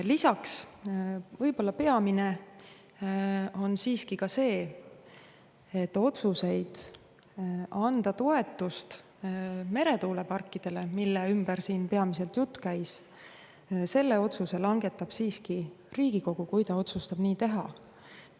Lisaks: võib-olla peamine on siiski see, et otsuse anda toetust meretuuleparkidele, mille ümber siin peamiselt jutt käis, langetab siiski Riigikogu, kui ta otsustab nii teha.